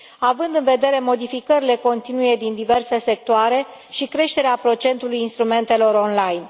având în vedere modificările continue din diverse sectoare și creșterea procentului instrumentelor online.